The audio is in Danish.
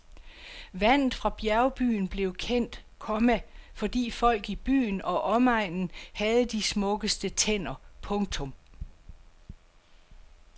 Vandet fra bjergbyen blev kendt, komma fordi folk i byen og omegnen havde de smukkeste tænder. punktum